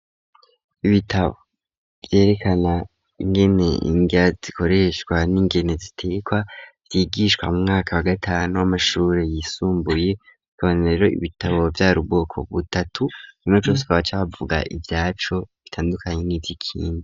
Ibitabo vyerekana ingene indya zikoreshwa n'ingene zitekwa byigishwa mu mwaka wa gatanu w'amashuri yisumbuye tonero ibitabo vya rubwoko butatu rinocuswabacavuga ibyacu bitandukanye n'ivyikindi.